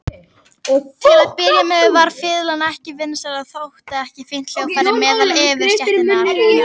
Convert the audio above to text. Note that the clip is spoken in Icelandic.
Til að byrja með var fiðlan ekki vinsæl og þótti ekki fínt hljóðfæri meðal yfirstéttarinnar.